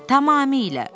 Tamamilə.